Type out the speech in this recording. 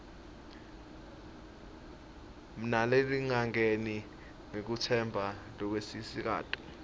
nalehlangene ngekutetsemba lokwenelisako